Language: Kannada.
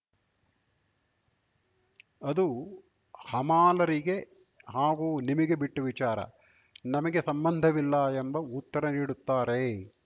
ಅದು ಹಮಾಲರಿಗೆ ಹಾಗೂ ನಿಮಗೆ ಬಿಟ್ಟವಿಚಾರ ನಮಗೆ ಸಂಬಂಧವಿಲ್ಲ ಎಂಬ ಉತ್ತರ ನೀಡುತ್ತಾರೆ